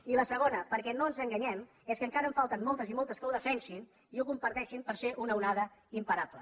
i la segona perquè no ens enganyem és que encara en falten moltes i moltes que ho defensin i ho comparteixin per ser una onada imparable